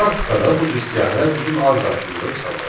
Praktikada bu cür siyahılar bizim az qarşımıza çıxacaq.